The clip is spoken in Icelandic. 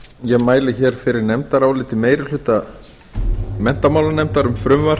ég mæli fyrir nefndaráliti meiri hluta menntamálanefndar um frumvarp